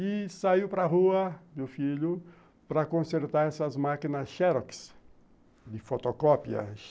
E saiu para a rua, meu filho, para consertar essas máquinas xerox, de fotocópia.